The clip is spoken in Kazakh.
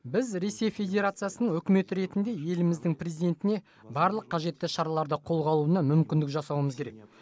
біз ресей федерациясының үкіметі ретінде еліміздің президентіне барлық қажетті шараларды қолға алуына мүмкіндік жасауымыз керек